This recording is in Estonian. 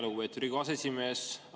Lugupeetud Riigikogu aseesimees!